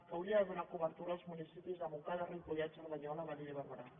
que hauria de donar cobertura als municipis de montcada ripollet cerdanyola badia i barberà